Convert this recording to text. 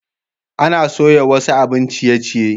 Ana soya wasu abin ciye-ciye.